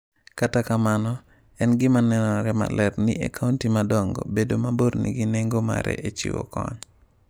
Kata kamano, en gima nenore maler niE kaunti madongo, bedo mabor nigi nengo mare e chiwo kony.